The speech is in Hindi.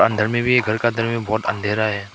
इधर में भी एक घर के अंदर में बहोत अंधेरा है।